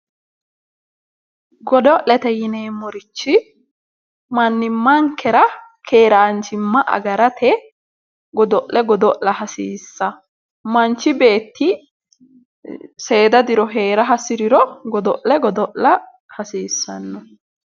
Godo'lete yineemmorichi manimankera keeranchima agarate godo'le godo'lla hasiisano ,manchi beetti seeda diro heera hasiriro godo'le godo'lla hasiisano.